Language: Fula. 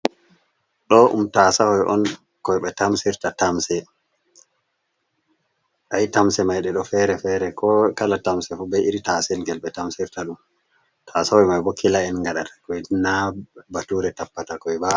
Ɗo ɗum tasahoi on, koi ɓe tamsirta tamse, ayi tamse mai ɗo fere fere, ko kala tamse fu be iri taselyel ɓe tamsirta ɗum tasahoi mai boo kila en gaɗa takoi na bature tappata koi ba.